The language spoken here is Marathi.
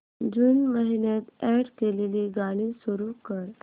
जून महिन्यात अॅड केलेली गाणी सुरू कर